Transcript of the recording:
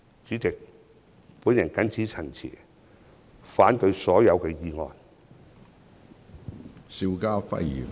主席，我謹此陳辭，反對所有議案。